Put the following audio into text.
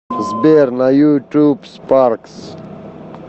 сбер на ютуб спаркс